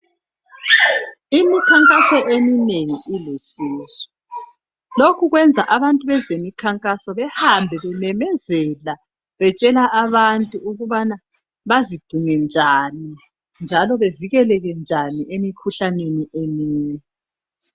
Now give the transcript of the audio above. Imikhankaso eminengi ilusizo lokhu kwenza abantu bezemikhankaso behambe bememezela betshela abantu ukubana bazigcine njani njalo bavikeleke njani emikhuhlaneni eminye.